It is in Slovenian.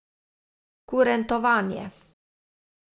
Kurentovanje.